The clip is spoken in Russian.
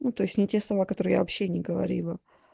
ну то есть не те слова которые я вообще не говорила